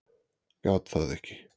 Gat það ekki.